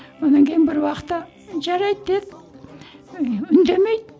онан кейін бір уақытта жарайды деді і үндемейді